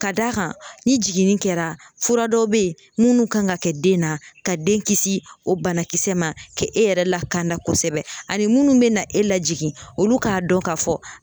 Ka d'a kan ni jiginni kɛra fura dɔw be ye munnu kan ŋa kɛ den na ka den kisi o banakisɛ ma kɛ e yɛrɛ la ka na kosɛbɛ ani munnu be na e lajigin olu k'a dɔn ka fɔ